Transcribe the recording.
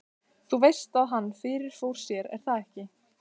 Þú veist að hann. fyrirfór sér, er það ekki?